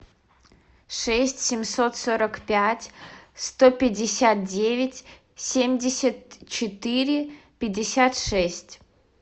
шесть семьсот сорок пять сто пятьдесят девять семьдесят четыре пятьдесят шесть